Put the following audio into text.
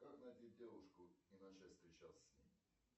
как найти девушку и начать встречаться с ней